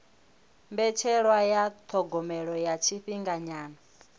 mbetshelwa ya thogomelo ya tshifhinganyana